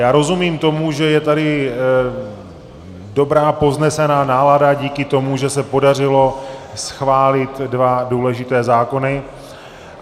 Já rozumím tomu, že je tady dobrá povznesená nálada díky tomu, že se podařilo schválit dva důležité zákony.